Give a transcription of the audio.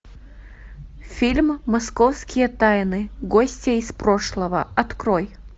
фильм московские тайны гостья из прошлого открой